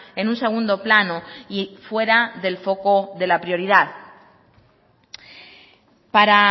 en un segundo plano y fuera del foco de la prioridad para